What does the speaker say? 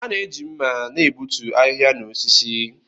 A na-eji mma na-egbutu ahịhịa na osisi.